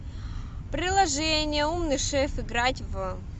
приложение умный шеф играть в